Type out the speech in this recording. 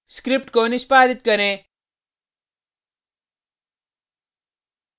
script को निष्पादित करें